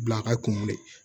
Bila ka kunkolo de